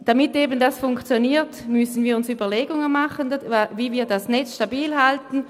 Damit das funktioniert, müssen wir uns Überlegungen dazu machen, wie wir das Netz stabil halten.